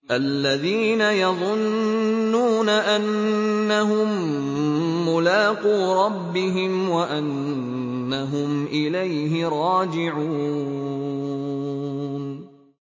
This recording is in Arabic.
الَّذِينَ يَظُنُّونَ أَنَّهُم مُّلَاقُو رَبِّهِمْ وَأَنَّهُمْ إِلَيْهِ رَاجِعُونَ